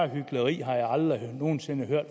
hykleri har jeg aldrig nogen sinde før